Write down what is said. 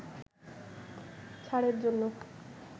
ছাড়ের জন্য